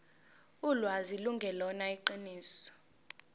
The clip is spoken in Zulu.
ulwazi lungelona iqiniso